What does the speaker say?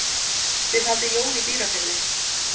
Þið haldið jól í Dýrafirði.